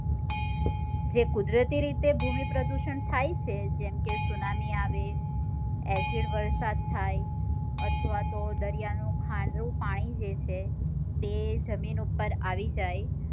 જે કુદરતી રીતે ભૂમિ પ્રદુષણ થાય છે જેમ કે ત્સુનામી આવે અસિડવર્ષા થાય અથવા તો દરિયા નું ખરું પાણી છે તે જમીન ઉપ્પર આવી જાય